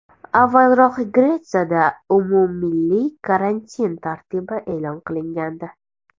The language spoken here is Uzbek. Avvalroq Gretsiyada umummilliy karantin tartibi e’lon qilingandi .